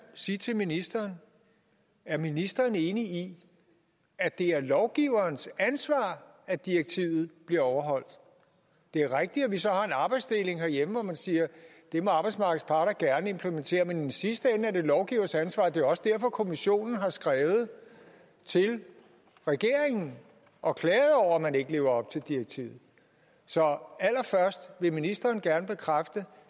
sige til ministeren er ministeren enig i at det er lovgiverens ansvar at direktivet bliver overholdt det er rigtigt at vi så har en arbejdsdeling herhjemme hvor man siger at det må arbejdsmarkedets parter gerne implementere men i sidste ende er det jo lovgivers ansvar det også derfor at kommissionen har skrevet til regeringen og klaget over at man ikke lever op til direktivet så vil ministeren gerne bekræfte